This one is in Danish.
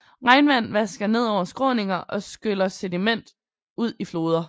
Regnvand vasker ned over skråninger og skyller sediment ud i floder